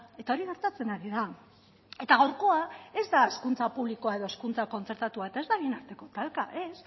eta hori gertatzen ari da eta gaurkoa ez da hezkuntza publikoa edo hezkuntza kontzertatua eta ez da bien arteko talka ez